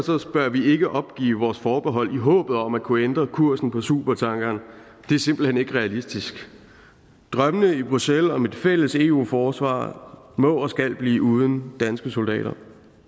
bør vi ikke opgive vores forbehold i håbet om at kunne ændre kursen på supertankeren det er simpelt hen ikke realistisk drømmene i bruxelles om et fælles eu forsvar må og skal blive uden danske soldater